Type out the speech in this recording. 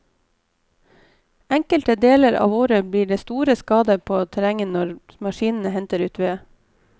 Enkelte deler av året blir det store skader på terrenget når maskinene henter ut ved.